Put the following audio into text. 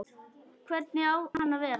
Hvernig á hann að vera?